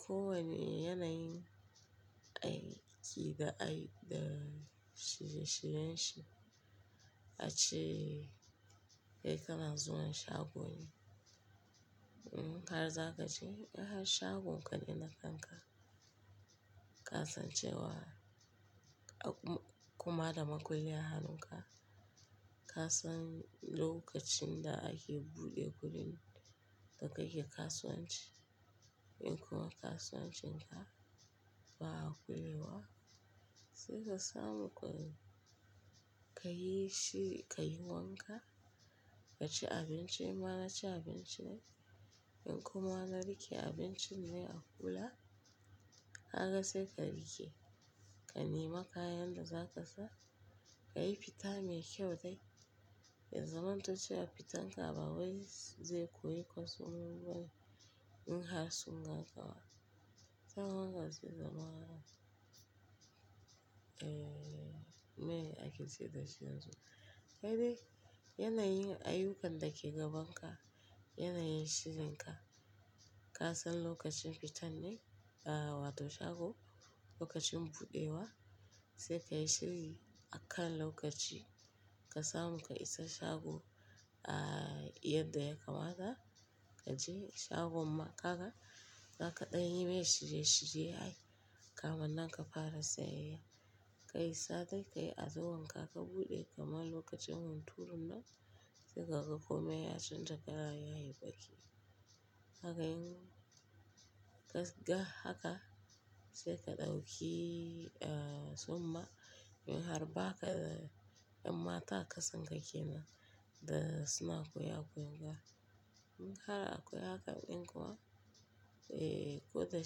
ko wane yanayin aiki da, da shirye-shiryen shi. Ace, dai kana zuwa shago ne, in har za ka je shagon kaɗai na kanka, ka san cewa kuma da makulli a hannunka, ka san lokacin da ake buɗe wurin da kake kasuwanci. In kuma kasuwancin ka ba a kulewa, sai ka samu guri ka yi shi, ka yi wanka, ka ci abinci. Ma na ci abinci na, in kuma na riƙe abincin na a kula. Kaga sai ka riƙe ka nema kayan da za ka sa, ka yi fita mai kyau dai. Ya zamanto cewa fitan ka ba wai zai koyi kwastomomi bane in har sun ga kawa. Sai kuma ka je zaman, eh, me ake ce da shi yanzu? Kai dai yanayin ayyukan dake gaban ka, yanayin shirinka, ka san lokacin fitan ne, uh, wato shago, lokacin buɗewa, sai ka yi shiri akan lokaci ka samu ka isa shago, uh, yadda ya kamata. Ka je shagon ma kaga, za ka ɗanyi me shirye-shirye ai kamannan ka fara sayayya. Ka yi safe, ka yi azumi haka ka buɗe kamar lokacin hunturun nan, sai kaga kome ya canja kala yayi baki. Haka in ka ga haka, sai ka ɗauki, uh, tsumma in har ba ka da 'yan mata a ƙasan ka ke nan da suna kowa a wurin ka In har akwai haka in kuma, eh, ko da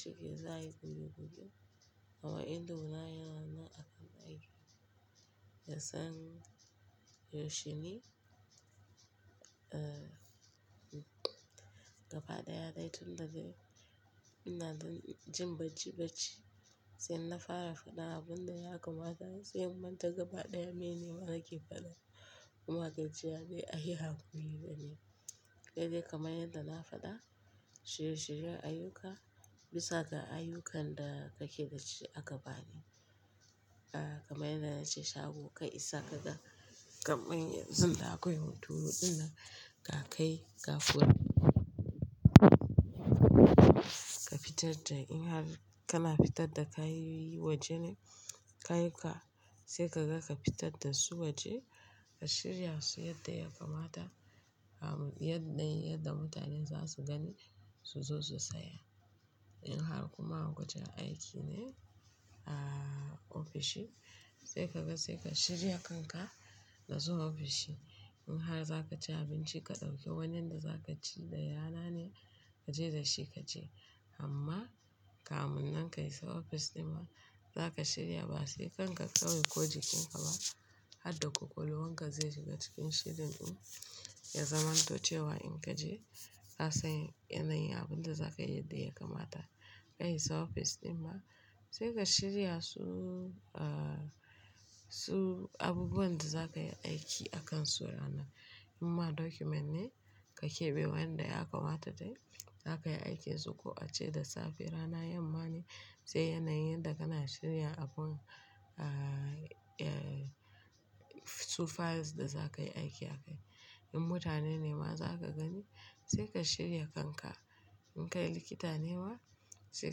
shike za a yi gudu gudu, kama indoma yana nan akan aiki. Da san, yaushe ne, uh, gaba ɗaya dai tun da dai ina jin bacci bacci. Sai na fara faɗa abun da ya kamata, sai mun ta gaba ɗaya mene ma nake faɗa. Kuma gajiya nai ayi haƙuri dani. Kai dai kamar yadda na faɗa, shirye-shiryen ayyuka bisa ga ayyukan da kake dashi a gaba ne. Uh, kamar yadda na ce shago ka isa ka ga kamar yanzu da akwai hunturu ɗin nan, ka kai ka kunni. Ka fitar da in har kana fitar da kayoyi waje na kayan ka, sai ka ga ka fitar da su waje ka shirya su yadda ya kamata. Am yadda, yadda mutane za su gani su zo su saya. In har kuma wajen aiki ne, uh, ofishi, sai kaga sai ka shirya kanka na zuwa ofishi. In har za ka ci abinci ka ɗauki wannan da za ka ci da yanane ka je da shi ka je. Amma kamun nan ka isa ofis ɗin ma za ka shirya ba sai kanka kawai ko jikin ka ba. Har da ƙwaƙwalwan ka zai shiga cikin shirin ku. Ya zamanto cewa in ka je ka san yanayin abun da za ka yi yadda ya kamata. Ka yi sa ofis ɗin ma, sai ka shirya su, uh, su abubuwan da za ka yi aiki a kan su ranar. In ma document ne ka keɓe wanda ya kamata dai za ka yi aiki da su. Ko ace da safe rana yamma ne, sai yanayin da kana shirya abun, uh, uh, su files da za ka yi aiki a kai. In mutane ne ma za ka gani, sai ka shirya kanka. In ka yi likita ne ma, sai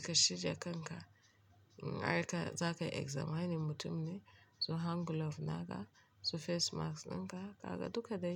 ka shirya kanka. In har ka, za ka examining mutum ne, su hand glove naka, su face mask dinka, kaga duka dai.